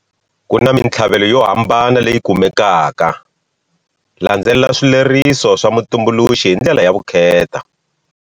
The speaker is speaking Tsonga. Ku na mintlhavelo yo hambana leyi kumekaka-landzelela swileriso swa mutumbuluxi hi ndlela ya vukheta.